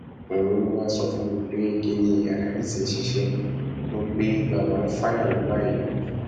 òun ló wáá sọ fún mi pé kinní aláàjì ti ṣiṣẹ o pe bàbá ń fàyà lọ báyìí ni